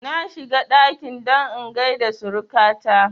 Na shiga ɗaki don in gaida suruka ta